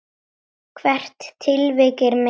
Hvert tilvik er metið.